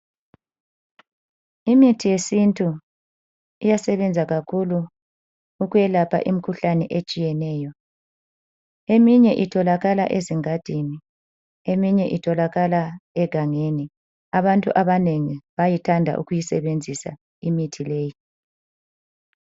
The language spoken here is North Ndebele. Imithi yesintu iyasebenza kakhulu ukuyelapha imkhuhlane etshiyeneyo. Eminye itholakala ezingadini. Eminye itholakala egangeni, abantu abanengi bayathanda ukuyisebenzisa imithi leyi.